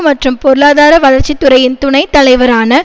மற்றும் பொருளாதார வளர்ச்சித்துறையின் துணை தலைவரான